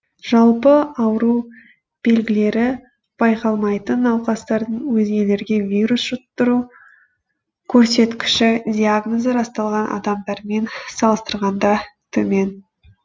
жалпы ауру белгілері байқалмайтын науқастардың өзгелерге вирус жұқтыру көрсеткіші диагнозы расталған адамдармен салыстырғанда төмен